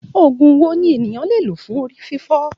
Òògùn wo ni ènìyàn lè lò fún orí fífọ́?